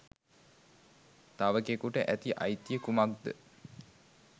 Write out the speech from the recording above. තවෙකෙකුට ඇති අයිතිය කුමක්ද?